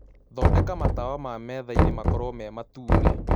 thondeka matawa ma methaĩnĩ makorwo me matũne